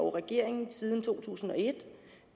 og regeringen siden to tusind og et